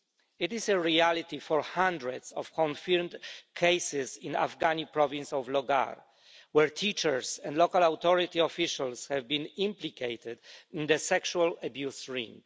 It is a reality for hundreds of confirmed cases in the Afghani province of Logar, where teachers and local authority officials have been implicated in the sexual abuse ring.